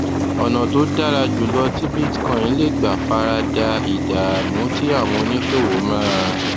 ọnà tó dára jù lọ tí bitcoin lè gbà fara da ìdààmú tí àwọn oníṣòwò máa